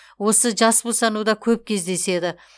осы жас босануда көп кездеседі